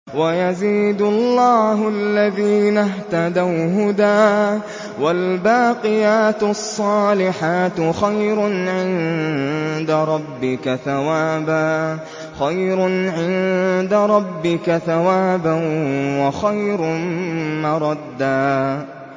وَيَزِيدُ اللَّهُ الَّذِينَ اهْتَدَوْا هُدًى ۗ وَالْبَاقِيَاتُ الصَّالِحَاتُ خَيْرٌ عِندَ رَبِّكَ ثَوَابًا وَخَيْرٌ مَّرَدًّا